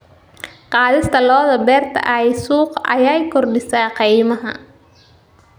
Qaadista lo'da beerta ee suuqa ayaa kordhisa qiimaha.